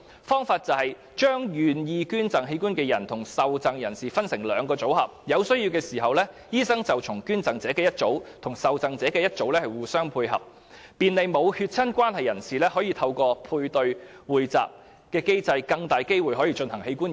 方法是把願意捐贈器官的人與受贈人士分成兩個組合，當有需要時，醫生會就捐贈者的一組與受贈者的一組互相配對，便利沒有血親關係的人士透過配對或匯集機制，有更大機會進行器官移植。